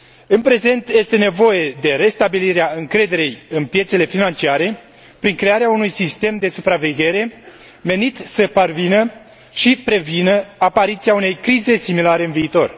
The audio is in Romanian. În prezent, este nevoie de restabilirea încrederii în piețele financiare prin crearea unui sistem de supraveghere menit să parvină și prevină apariția unei crize similare în viitor.